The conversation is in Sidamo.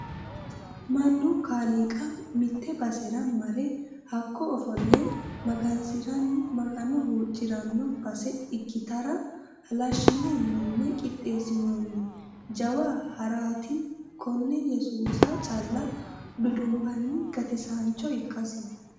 Mannu kaaliiqa mite basera marre hakko ofolle magansiranni magano huuccirano base ikkittara halashine mine qixeesinonni jawa harati kone yesuusa calla dudumbanni gatisancho ikkasi.